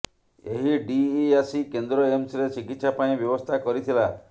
ଏହି ଡିଇଆସି କେନ୍ଦ୍ର ଏମ୍ସରେ ଚିକିତ୍ସା ପାଇଁ ବ୍ୟବସ୍ଥା କରିଥିଲା